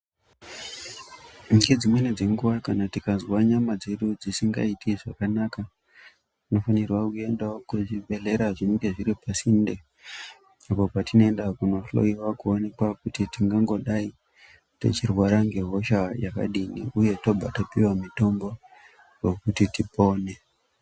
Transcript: Ngedzimweni dzenguwa kana tikazwa nyama dzedu dzisingaiti zvakanaka tinofanirwa kuendawo kuzvibhehlera zvinenge zviri pasinde apo patinoenda kunohlowiwa kuonekwa kuti tingangodai techirwara ngehosha yakadini tobva tapiwa mitombo wekuti tipone..